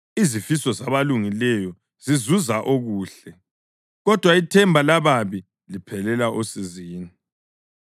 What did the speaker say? Izifiso zabalungileyo zizuza okuhle kodwa ithemba lababi liphelela osizini.